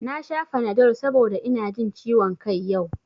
Na sha fanadol saboda ina jin ciwon kai yau